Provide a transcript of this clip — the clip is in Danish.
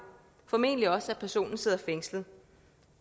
formentlig også at personen sidder fængslet